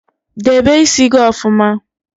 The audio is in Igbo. Debe ísí gị ọfụma!